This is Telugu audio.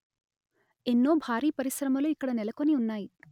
ఎన్నో భారీ పరిశ్రమలు ఇక్కడ నెలకొని ఉన్నాయి